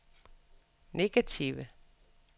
negative